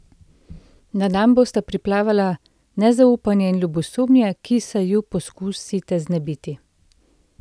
Na dan bosta priplavala nezaupanje in ljubosumje, ki se ju poskusite znebiti.